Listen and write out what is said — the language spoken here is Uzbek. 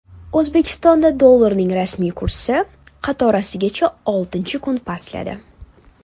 O‘zbekistonda dollarning rasmiy kursi qatorasiga oltinchi kun pastladi.